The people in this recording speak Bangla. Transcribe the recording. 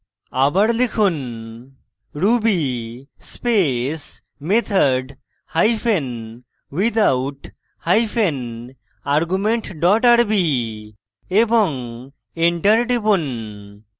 আবার লিখুন ruby space method hyphen without hyphen argument dot rb এবং enter টিপুন